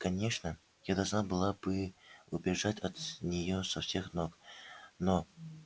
конечно я должна была бы убежать от неё со всех ног но